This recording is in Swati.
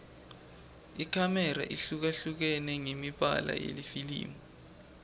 ikhamera ihlukahlukene ngemibala yelifilimu